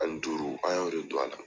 Ani duuru an y'o de don a la.